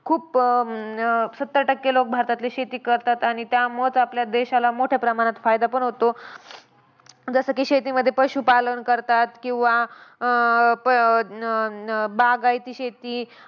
खूप अं न सत्तर टक्के लोक भारतातले शेती करतात आणि त्यामुळंच आपल्या देशाला मोठ्या प्रमाणात फायदा पण होतो. जसं की शेतीमध्ये पशुपालन करतात किंवा अं प न न बागायती शेती,